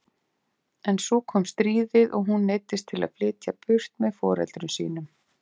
En svo kom stríðið og hún neyddist til að flytja burt með foreldrum sínum.